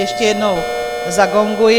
Ještě jednou zagonguji.